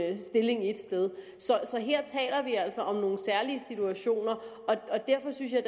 en stilling et sted så her taler vi altså om nogle særlige situationer og derfor synes jeg